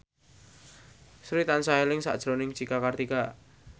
Sri tansah eling sakjroning Cika Kartika